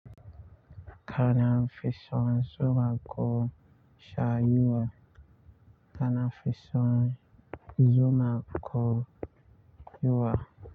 Kana fisan zuma ko sha yuwa. Kana fisan zuma ko yuwa.